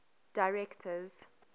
directors